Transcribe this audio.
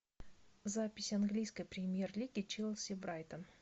запись английской премьер лиги челси брайтон